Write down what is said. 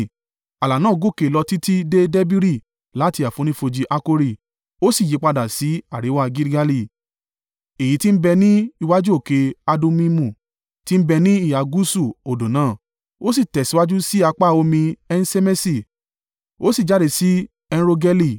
Ààlà náà gòkè lọ títí dé Debiri láti àfonífojì Akori, ó sì yípadà sí àríwá Gilgali, èyí tí ń bẹ ní iwájú òkè Adummimu, tí ń bẹ ní ìhà gúúsù odò náà. Ó sì tẹ̀síwájú sí apá omi En-Ṣemeṣi, ó sì jáde sí En-Rogeli.